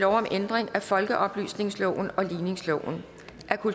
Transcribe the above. om ændringsforslag nummer